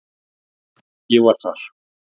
Ég var þar